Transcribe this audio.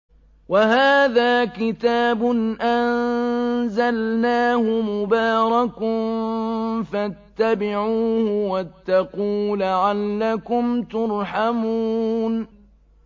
وَهَٰذَا كِتَابٌ أَنزَلْنَاهُ مُبَارَكٌ فَاتَّبِعُوهُ وَاتَّقُوا لَعَلَّكُمْ تُرْحَمُونَ